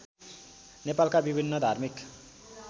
नेपालका विभिन्न धार्मिक